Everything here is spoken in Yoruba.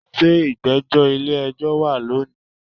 se igbejo ile ejo wa loni?